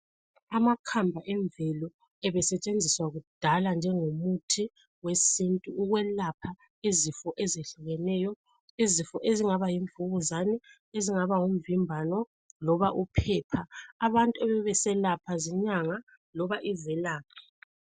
Amakhamba emvelo ebesetshenziswa kudala njengomuthi wesintu ukwelapha izifo ezehlukeneyo. Izifo ezingaba yimvukuzane, ezingaba ngumvimbano loba uphepha. Abantu ebebeselapha zinyanga loba izelaphi.